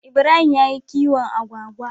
Ibrahim yayi kiwon Agwagwa